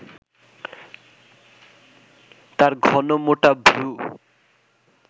তাঁর ঘন মোটা ভ্রু